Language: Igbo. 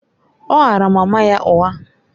Ọ ghaara mama ya ụgha.